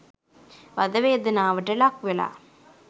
වධ වේදනාවට ලක්වෙලා